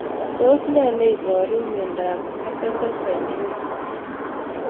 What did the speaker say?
Tos iparu nee miondop Carpenter syndrome